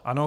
Ano.